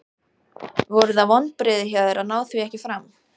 Voru það vonbrigði hjá þér að ná því ekki fram?